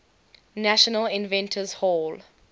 national inventors hall